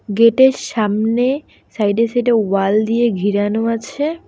গেটের সামনে সাইডে সাইডে ওয়াল দিয়ে ঘিরানো আছে।